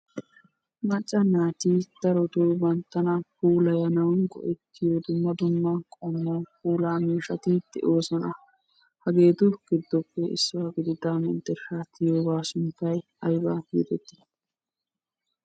Macca naati darottoo banttana puulayana go"etiyo dumma dumma puulaa miishshati de'oosona. Hageetu giddoppe issuwaa gidida menttershsha tiyyiyooga sunttay aybba getetti?